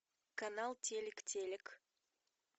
канал телек телек